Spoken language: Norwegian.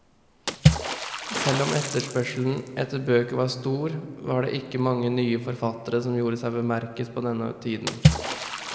Selv om etterspørselen etter bøker var stor, var det ikke mange nye forfattere som gjorde seg bemerket på denne tiden.